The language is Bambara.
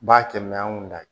B'a kɛ an kun da